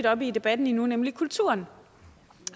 op i debatten endnu nemlig kulturen